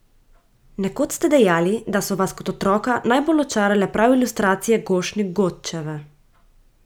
Nekoč ste dejali, da so vas kot otroka najbolj očarale prav ilustracije Gošnik Godčeve.